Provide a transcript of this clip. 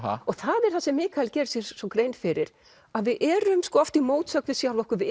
og það er það sem Mikael gerir sér svo grein fyrir að við erum oft í mótsögn við sjálf okkur við